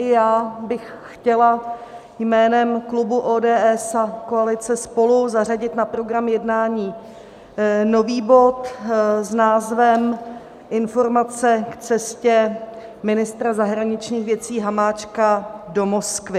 I já bych chtěla jménem klubu ODS a koalice SPOLU zařadit na program jednání nový bod s názvem Informace k cestě ministra zahraničních věcí Hamáčka do Moskvy.